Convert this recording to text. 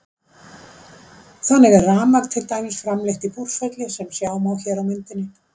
Þannig er rafmagn til dæmis framleitt í Búrfelli sem sjá má hér á myndinni.